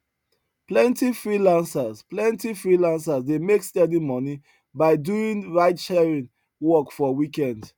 plenty freelancers plenty freelancers dey make steady money by doing ridesharing work for weekend